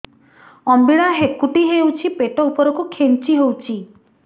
ଅମ୍ବିଳା ହେକୁଟୀ ହେଉଛି ପେଟ ଉପରକୁ ଖେଞ୍ଚି ହଉଚି